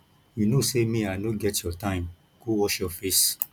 you no say me i no get your time go wash your face